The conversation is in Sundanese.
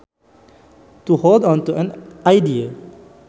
To hold onto an idea